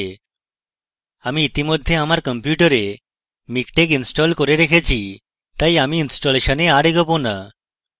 আমি ইতিমধ্যেই আমার কম্পিউটারে miktex ইনস্টল করে রেখেছি তাই আমি ইনস্টলেশনে আর এগোবো না